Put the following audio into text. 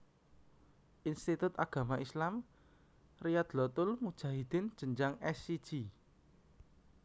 Institut Agama Islam Riyadlotul Mujahidin jenjang S siji